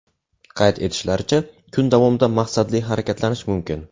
Qayd etishlaricha, kun davomida maqsadli harakatlanish mumkin.